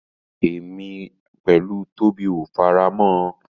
Èmi pẹ̀lú Tóbi ò fẹ́ra mọ́.